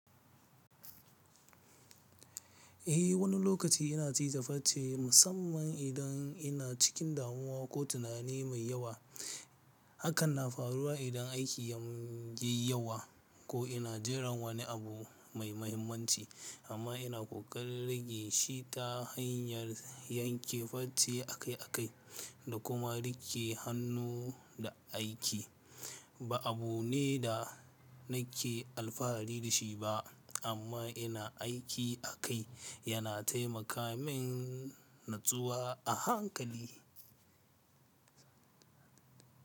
Eh wani lokaci ina cije farce musamman idan ina cikin damuwa ko tunani mai yawa. Hakan na faruwa idan aiki ya yi yawa ko ina jiran wani abu mai mahimmanci amma ina ƙoƙarin rage shi ta hanyar yanke farce akai-akai da kuma riƙe hannu da aiki. Ba abu ne da nake alfahari da shi ba amma ina aiki akai yana taimaka min natsuwa a hankali.